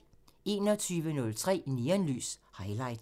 21:03: Neonlys – Highlights